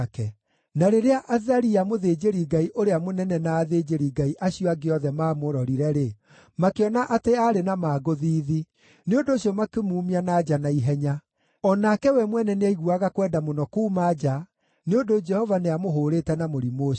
Na rĩrĩa Azaria, mũthĩnjĩri-Ngai ũrĩa mũnene na athĩnjĩri-Ngai acio angĩ othe maamũrorire-rĩ, makĩona atĩ aarĩ na mangũ thiithi; nĩ ũndũ ũcio makĩmuumia na nja na ihenya. O nake we mwene nĩaiguaga kwenda mũno kuuma nja, nĩ ũndũ Jehova nĩamũhũũrĩte na mũrimũ ũcio.